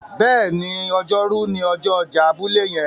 béèni Ọjọ́ Rú ni ọjọ ọjà abúlé yen.